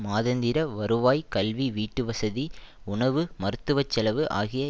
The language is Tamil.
மாதாந்திர வருவாய் கல்வி வீட்டுவசதி உணவு மருத்துவச்செலவு ஆகிய